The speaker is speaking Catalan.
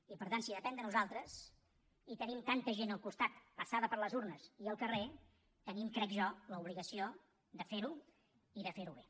i per tant si depèn de nosaltres i tenim tanta gent al costat passada per les urnes i al carrer tenim crec jo l’obligació de fer ho i de fer ho bé